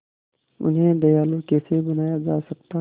उन्हें दयालु कैसे बनाया जा सकता है